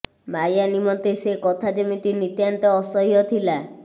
ମାୟା ନିମନ୍ତେ ସେ କଥା ଯେମିତି ନିତାନ୍ତ ଅସହ୍ୟ ଥିଲା